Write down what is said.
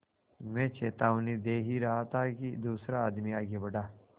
मैं चेतावनी दे ही रहा था कि दूसरा आदमी आगे बढ़ा